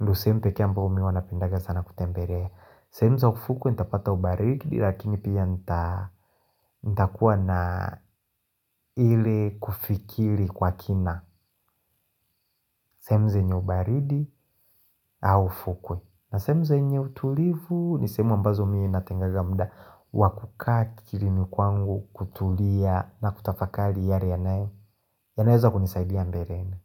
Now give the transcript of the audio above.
ndo sehemu peke ambao mimi huwa napendaga sana kutembelea sehemu za ufukwe, nitapata ubaridi Lakini pia nitakuwa na ile kufikiri kwa kina sehemu zenye ubaridi au ufukwe na sehemu zenye utulivu ni sehemu ambazo miye natengeneza muda Wakukaa akilini kwangu kutulia na kutafakari yale yanaweza kunisaidia mbeleni.